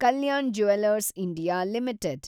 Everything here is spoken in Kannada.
Kalyana jewellers India limited